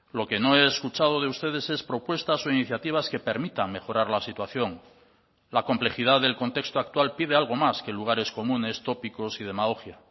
lo que no he escuchado de ustedes es propuestas o iniciativas que permitan mejorar la situación la complejidad del contexto actual pide algo más que lugares comunes tópicos y demagogia